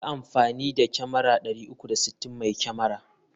Yi amfani da kyamara 360 mai kyamar.